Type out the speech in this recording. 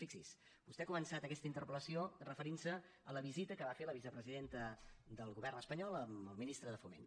fixi’s vostè ha començat aquesta interpel·lació referint se a la visita que va fer la vicepresidenta del govern espanyol amb el ministre de foment